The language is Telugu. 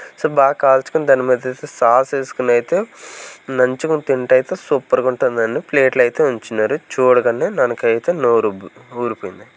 సో బాగా కాల్చుకొని దాని మీదతే సాస్ వేసుకొని అయితే నంచుకొని తింటే అయితే సూపర్ గా ఉంటుందని ప్లేట్లో అయితే ఉంచినారు చూడగానే నానకైతే నోరు ఊబ్-- ఊరిపోయింది.